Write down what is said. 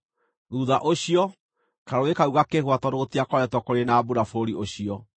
Thuutha ũcio, karũũĩ kau gakĩhũa tondũ gũtikoretwo kũrĩ na mbura bũrũri ũcio.